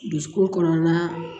Dusukun kɔnɔna